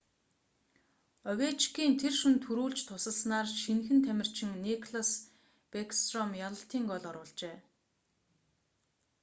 овечкин тэр шөнө түрүүлж тусалснаар шинэхэн тамирчин никлас бэкстром ялалтын гоол оруулжээ